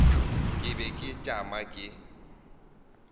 ke be ke tšama ke